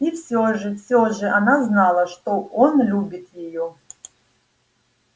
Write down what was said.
и все же все же она знала что он любит её